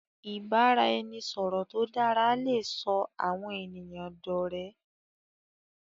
ibaraẹnisọrọ tó dara lẹ sọ àwọn ènìyàn dó òré.